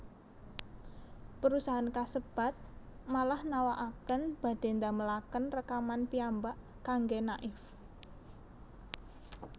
Perusahaan kasebat malah nawakaken badhe ndamelaken rekaman piyambak kangge Naif